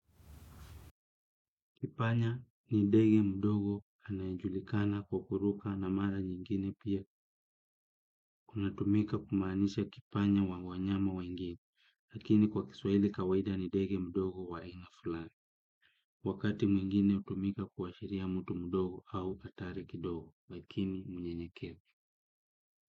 Kipanya ni ndege mdogo anayejulikana kwa kuruka na mara nyingine pia kunatumika kumaanisha kipanya wa wanyama wengine, lakini kwa kiswahili kawaida ni ndege mdogo wa aina fulani, wakati mwingine hutumika kuashiria mtu mdogo au hatari kidogo, lakini mnyenyekevu.